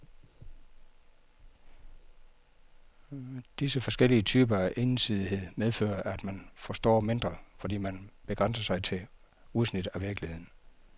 Disse forskellige typer af ensidighed medfører, at man forstår mindre, fordi man begrænser sig til udsnit af virkeligheden.